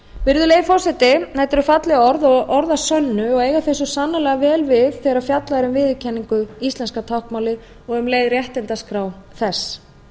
virðulegi forseti þetta eru falleg orð og orð að sönnu og eiga þau sannarlega vel við þegar fjallað er um viðurkenningu íslenska táknmálsins og um leið réttindaskrá þess